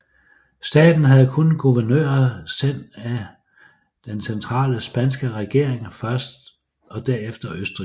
Staten havde kun guvernører sendt af den centrale spanske regering først og derefter østrigske